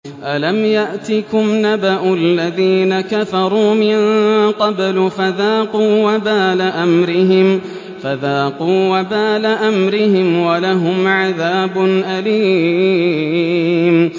أَلَمْ يَأْتِكُمْ نَبَأُ الَّذِينَ كَفَرُوا مِن قَبْلُ فَذَاقُوا وَبَالَ أَمْرِهِمْ وَلَهُمْ عَذَابٌ أَلِيمٌ